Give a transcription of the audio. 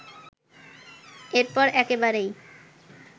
এরপর একেবারেই